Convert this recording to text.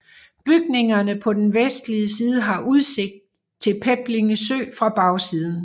Bygningerne på den vestlige side har udsigt til Peblinge Sø fra bagsiden